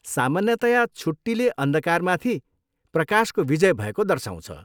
सामान्यतया छुट्टीले अन्धकारमाथि प्रकाशको विजय भएको दर्साउँछ।